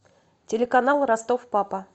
телеканал ростов папа